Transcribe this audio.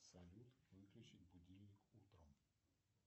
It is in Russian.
салют выключить будильник утром